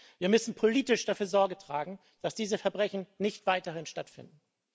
Wir müssen politisch dafür Sorge tragen, dass diese Verbrechen nicht weiterhin stattfinden.